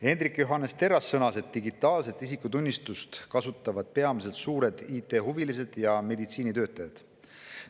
Hendrik Johannes Terras sõnas, et digitaalset isikutunnistust kasutavad peamiselt suured IT‑huvilised ja meditsiinitöötajad.